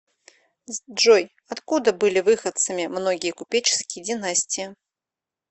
джой откуда были выходцами многие купеческие династии